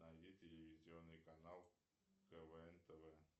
найди телевизионный канал квн тв